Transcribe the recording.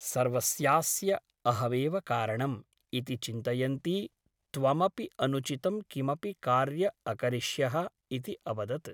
सर्वस्यास्य अहमेव कारणम् ' इति चिन्तयन्ती त्वमपि अनुचितं किमपि कार्य अकरिष्यः इति अवदत् ।